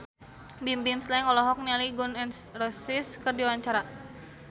Bimbim Slank olohok ningali Gun N Roses keur diwawancara